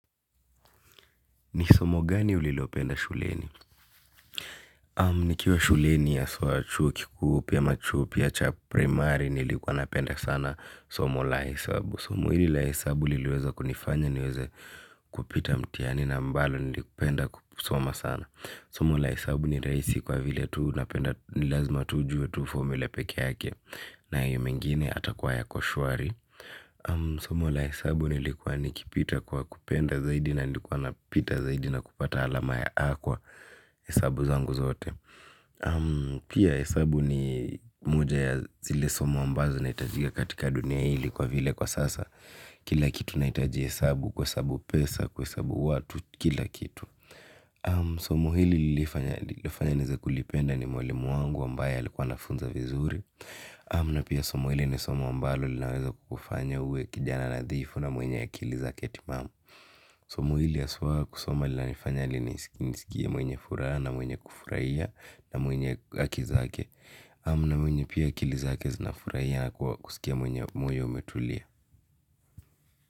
Ni somo gani ulilopenda shuleni? Nikiwa shuleni haswa chuo kikuu pia machu pia cha primari nilikuwa napenda sana somo la hesabu. Somo hili la hesabu liliweza kunifanya niweze kupita mtiani na ambalo nilipenda kusoma sana. Somo la hesabu ni rahisi kwa vile tuu napenda nilazma tu ujuwe tu formula peke yake na hio mengine atakuwa ya ko shwari. Somo la hesabu lilikuwa nikipita kwa kupenda zaidi na likuwa napita zaidi na kupata alama ya a kwa hesabu zangu zote. Pia hesabu ni moja ya zile somo ambazo znitajika katika dunia hili kwa vile kwa sasa. Kila kitu naitajia hesabu kuhesabu pesa kuhesabu watu kila kitu. Somo hili lifanya nize kulipenda ni mwalimu wangu ambaye alikuwa anafunza vizuri namna pia somo hili ni somi ambalo linaweza kufanya uwe kijana nadhifu na mwenye akili zake timamu somo hili haswa kusoma linanifanya niskie mwenye furaha na mwenye kufurahia na mwenye haki zake namna mwenye pia akili zake zinafurahia na kusikia mwenye moyo umetulia.